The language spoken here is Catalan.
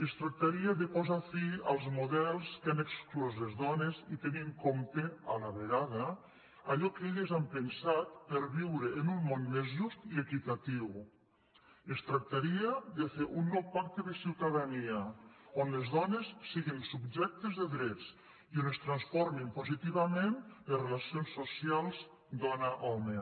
es tractaria de posar fi als models que han exclòs les dones i tenir en compte a la vegada allò que elles han pensat per viure en un món més just i equitatiu es trac·taria de fer un nou pacte de ciutadania on les dones siguin subjectes de drets i on es transformin positiva·ment les relacions socials dona·home